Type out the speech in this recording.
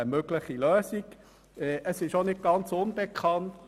Eine solche Lösung ist auch nicht ganz unbekannt.